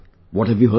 What have you heard